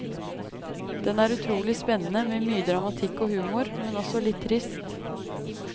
Den er utrolig spennende, med mye dramatikk og humor, men også litt trist.